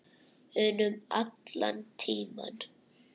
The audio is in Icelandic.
unum allan tímann.